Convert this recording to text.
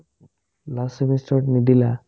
last semester ত নিদিলা ?